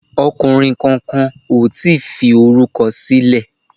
Ọkùnrin kankan ò tíì fi orúkọ sílẹ̀